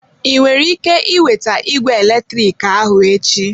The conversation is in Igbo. Ị nwere ike iweta igwe eletrik ahụ echi?